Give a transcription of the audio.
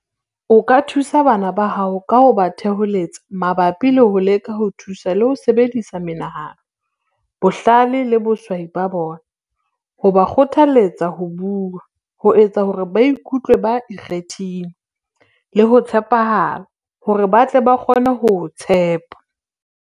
O ka thusa bana ba hao ka ho ba theholetsa mabapi le ho leka ho thusa le ho sebedisa menahano, bohlale le boswasi ba bona, ho ba kgothaletsa ho bua, ho etsa hore ba ikutlwe ba ikgethile, le ho tshepahala, hore ba tle ba kgone ho o tshepa.